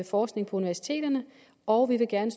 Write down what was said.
forskning på universiteterne og vi vil gerne